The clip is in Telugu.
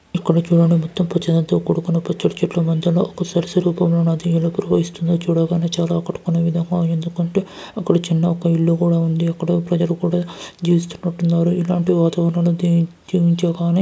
ఇక్కడ చుడండి మొత్తం పచ్చదనంతో కూడుకున్న పచ్చటి చెట్ల మధ్యలో ఒక సరసు రూపంలో నది ఏలా ప్రవహిస్తుందో చూడ గానే చానా అక్కడ కనువిధంగా ఎందుకంటే అక్కడ చిన్న ఇల్లు కూడా ఉంది అక్కడ ప్రజలు కూడా జీవిస్తునట్టు ఉన్నారు. ఇలాంటి వాతావరణంలో జీ విజించగానే --